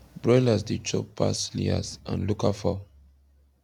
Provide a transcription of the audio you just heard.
broilers dey chop pass layers and local fowl